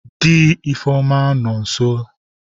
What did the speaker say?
Di Ifeoma no nso.